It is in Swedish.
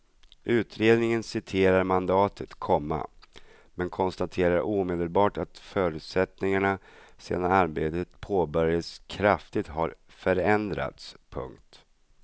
Utredningen citerar mandatet, komma men konstaterar omedelbart att förutsättningarna sedan arbetet påbörjades kraftigt har förändrats. punkt